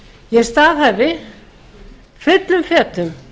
ég staðhæfi fullum fetum